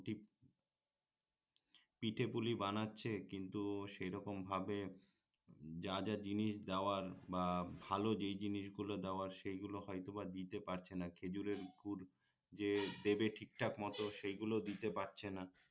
পিঠে পুলি বানাচ্ছে কিন্তু সেই রকম ভাবে যা যা জিনিস দেওয়ার বা ভাল যেই জিনিসগুলো দেওয়ার সেই গুলো হয়তো বা দিতে পারছে না খেজুরের গুড় যে দেবে ঠিকঠাক মত সেই গুলো দিতে পারছে না